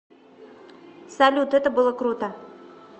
салют это было круто